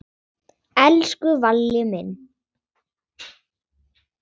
Elsku Valli minn.